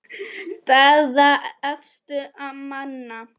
Staða efstu manna